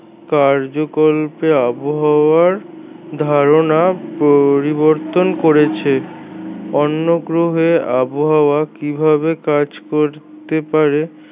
কার্যকল্পে আবহাওয়ার ধারণা পরিবর্তন করেছে অন্য গ্রহে আবহাওয়া কিভাবে কাজ করতে পারে